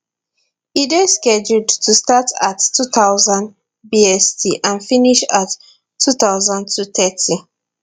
e dey scheduled to start at at 2000 bst and finish at 2230